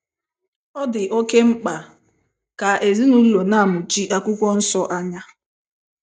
Ọ dị oké mkpa ka ezinụlọ na - amụchi akwụkwọ nsọ anya.